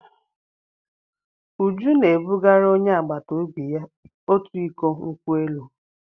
Uju na-ebugara onye agbata obi ya otu iko nkwụ elụ.